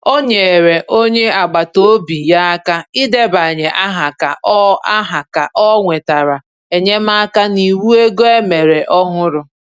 Ọ nyere onye agbata obi ya aka idebanye aha ka o aha ka o nwetara enyemaka n’iwu ego e mere ọhụrụ.